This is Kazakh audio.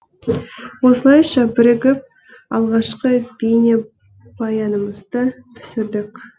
осылайша бірігіп алғашқы бейнебаянымызды түсірдік